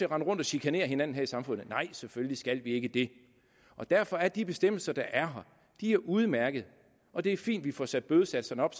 rende rundt og chikanere hinanden her i samfundet nej selvfølgelig skal vi ikke det derfor er de bestemmelser der er her udmærkede og det er fint at vi får sat bødesatserne op